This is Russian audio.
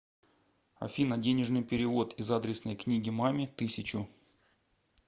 афина денежный перевод из адресной книги маме тысячу